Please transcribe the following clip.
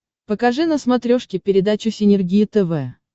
покажи на смотрешке передачу синергия тв